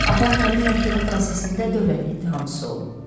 Atam həmin məhkəmə prosesində dövlət ittihamçısı olub.